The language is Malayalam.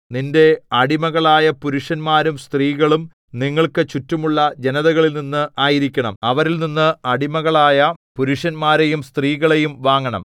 നിന്റെ അടിമകളായ പുരുഷന്മാരും സ്ത്രീകളും നിങ്ങൾക്ക് ചുറ്റുമുള്ള ജനതകളിൽനിന്ന് ആയിരിക്കണം അവരിൽനിന്ന് അടിമകളായ പുരുഷന്മാരെയും സ്ത്രീകളെയും വാങ്ങണം